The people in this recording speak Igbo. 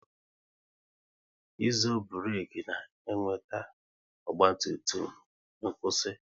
Ịzo burek na-eweta ọgba tum tum n'kwusi